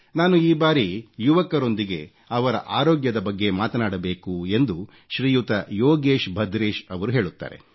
ನಾನು ಈ ಬಾರಿ ಯುವಕರೊಂದಿಗೆ ಅವರ ಆರೋಗ್ಯದ ಬಗ್ಗೆ ಮಾತನಾಡಬೇಕು ಎಂದು ಶ್ರೀಯುತ ಯೋಗೇಶ್ ಭದ್ರೇಶರವರು ಹೇಳುತ್ತಾರೆ